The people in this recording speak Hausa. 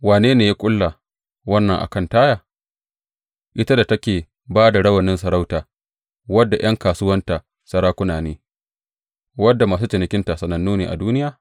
Wane ne ya ƙulla wannan a kan Taya ita da take ba da rawanin sarauta, wadda ’yan kasuwanta sarakuna ne, wadda masu cinikinta sanannu ne a duniya?